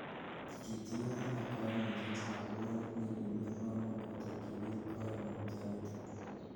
Kitiyo alak koimutietab bwonek nekimi komuch kotokyi biik koimutioniton.